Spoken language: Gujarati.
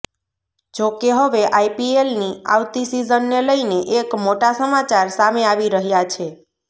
જોકે હવે આઈપીએલની આવતી સીઝનને લઇને એક મોટા સમાચાર સામે આવી રહ્યા છે